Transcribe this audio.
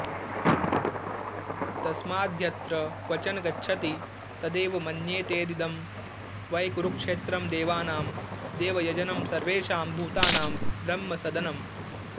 तस्माद्यत्र क्वचन गच्छति तदेव मन्येतेतीदं वै कुरुक्षेत्रं देवानां देवयजनं सर्वेषां भूतानां ब्रह्मसदनम्